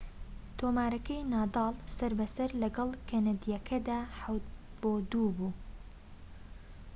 تۆمارەکەی نادال سەر بە سەر لەگەڵ کەنەدیەکەدا ٧-٢ بوو